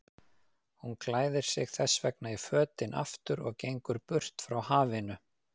Hún klæðir sig þessvegna í fötin aftur og gengur burt frá hafinu.